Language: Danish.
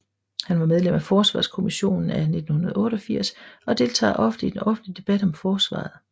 Han var medlem af Forsvarskommissionen af 1988 og deltager ofte i den offentlige debat om Forsvaret